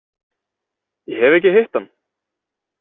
Ég hef ekki hitt hann.